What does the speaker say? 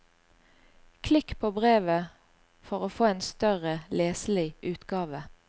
Klikk på brevet for å få en større, leselig utgave.